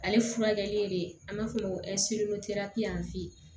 Ale furakɛli le an b'a f'o ma ko